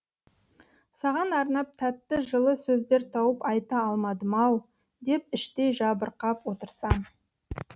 саған арнап тәтті жылы сөздер тауып айта алмадым ау деп іштей жабырқап отырсам